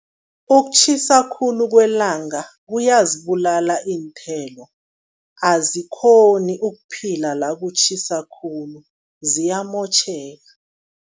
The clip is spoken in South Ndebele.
Ukutjhisa khulu kwelanga kuyazibulala iinthelo, azikghoni ukuphila la kutjhisa khulu, ziyamotjheka.